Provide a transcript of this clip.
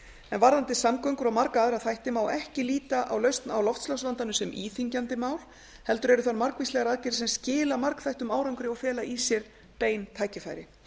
en varðandi samgöngur og marga aðra þætti má ekki líta á lausn á loftslagsvandanum sem íþyngjandi mál heldur eru þar margvíslegar aðgerðir sem skila margþættum árangri og fela í sér bein tækifæri